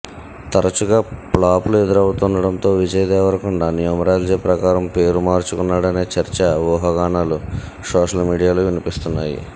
తరచుగా ఫ్లాపులు ఎదురవుతుండడంతో విజయ్ దేవరకొండ న్యూమరాలజీ ప్రకారం పేరు మార్చుకున్నాడనే చర్చ ఉహాగానాలు సోషల్ మీడియాలో వినిపిస్తున్నాయి